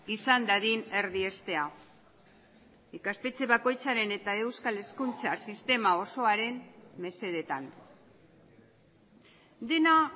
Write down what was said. izan dadin erdiestea ikastetxe bakoitzaren eta euskal hezkuntza sistema osoaren mesedetan dena